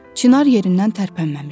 Çınar yerindən tərpənməmişdi.